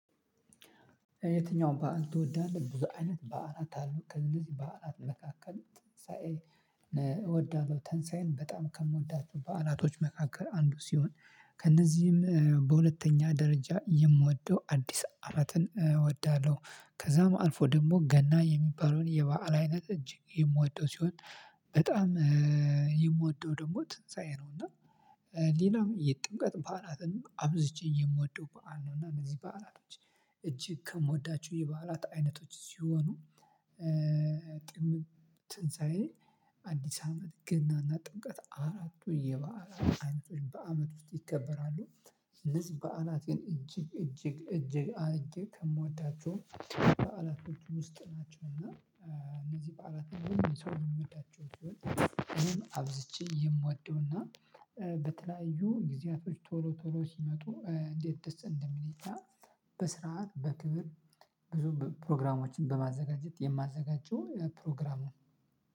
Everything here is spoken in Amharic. የትኛውን በዓል ትወዳለህ? ብዙ አይነት በዓላት አሉ ከእነዚህ በዓላት መካከል ትንሳኤን እወዳለሁ ትንሳኤን በጣም ከምወዳቸው በዓላቶች መካከል አንዱ ሲሆን። ከእነዚህም በሁለተኛ ደረጃ የምወደው አዲስ አመትን እወዳለሁ። ከዛም አልፎ ደግሞ ገና የሚባለውን የበአል አይነት እጅግ የምወደው ሲሆን። በጣም የምወደው ደግሞ ትንሳኤ ነው። እና ሌላው የጥምቀት በዓላትን አብዝቼ የምወደው በዓል ነው። እና እነዚህ በዓላቶች እጅግ ከምወዳቸው የበዓላት አይነቶች ሲሆኑ። ጥም ትንሳኤ አዲስ አመት ገናና ጥምቀት አራቱ የበዓላት አይነቶች በአመት ውስጥ ይከበራሉ። እነዚህ በዓላት ግን እጅግ እጅግ እጅግ ከምወዳቸው በዓላቶች ውስጥ ናቸው። እና እነዚህ በዓላትን ሁሉም ሰው የሚወዳቸው ሲሆን እኔም አብዝቼ የምወደው እና በተለያዩ ጊዜያቶች ቶሎ ቶሎ ሲመጡ እንዴት ደስ እንደሚል ይታያል። በስርዓት በክብር ብዙ ፕሮግራሞችን በማዘጋጀት የማዘጋጀው ፕሮግራሙን